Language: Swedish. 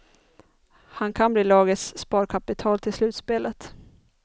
Han kan bli lagets sparkapital till slutspelet.